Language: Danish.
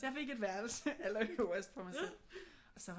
Så jeg fik et værelse allerøverst for mig selv og så var